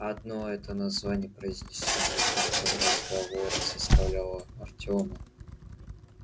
одно это название произнесённое кем-то в разговоре заставляло артёма